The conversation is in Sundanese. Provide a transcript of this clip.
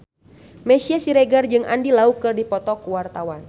Meisya Siregar jeung Andy Lau keur dipoto ku wartawan